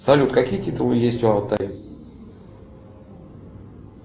салют какие титулы есть в алтае